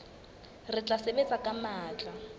re tla sebetsa ka matla